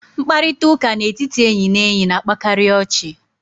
Mkparịta ụka n'etiti enyị na enyi na-akpakarị ọchị.